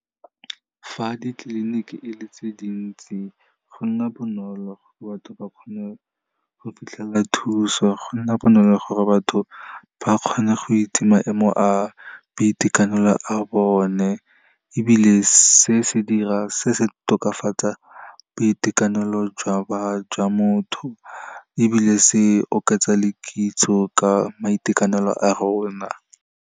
Fa ditleliniki e le tse dintsi go nna bonolo, batho ba kgone go fitlhela thuso, go nna bonolo gore batho ba kgone go itse maemo a boitekanelo a bone, ebile se se tokafatsa boitekanelo jwa motho ebile se oketsa le kitso ka maitekanelo a rona.